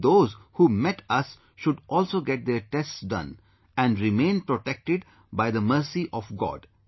And those who met should also get their tests done, and remain protected by the mercy of God